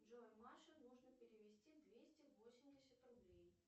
джой маше нужно перевести двести восемьдесят рублей